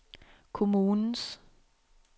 kommunens